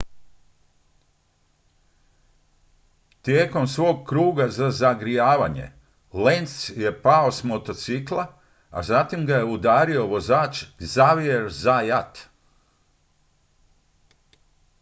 tijekom svog kruga za zagrijavanje lenz je pao s motocikla zatim ga je udario vozač xavier zayat